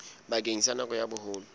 bakeng sa nako ya boholo